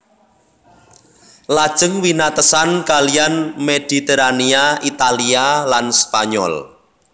Lajeng winatesan kaliyan Mediterania Italia lan Spanyol